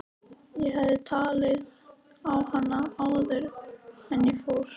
Ég hefði talið hana á það áður en ég fór.